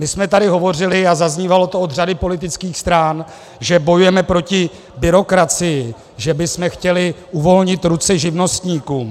My jsme tady hovořili, a zaznívalo to od řady politických stran, že bojujeme proti byrokracii, že bychom chtěli uvolnit ruce živnostníkům.